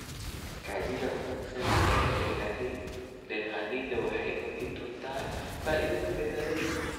Kaydinta wanaagsan ee dalagyada waxay kordhin doontaa faa'iidada beeralayda.